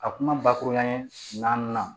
A kuma bakuruba ye naani na